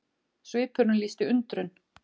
Svipurinn lýsti undrun.